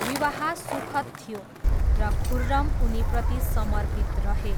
विवाह सुखद थियो र खुर्रम उनीप्रति समर्पित रहे।